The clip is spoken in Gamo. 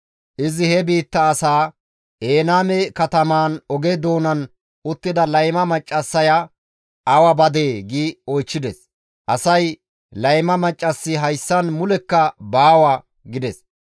Izi he biitta asaa, «Enayme katamaan oge doonan uttida layma maccassaya awa badee?» gi oychchides. Asay, «Layma maccassi hayssan mulekka baawa» gides.